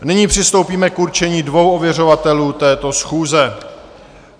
Nyní přistoupíme k určení dvou ověřovatelů této schůze.